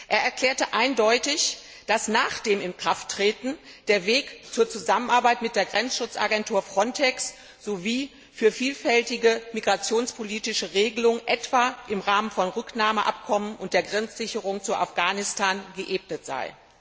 Er erklärte eindeutig, dass nach dessen Inkrafttreten der Weg für die Zusammenarbeit mit der Grenzschutzagentur FRONTEX sowie für vielfältige migrationspolitische Regelungen, etwa im Rahmen von Rücknahmeabkommen und der Grenzsicherung zu Afghanistan, geebnet sei.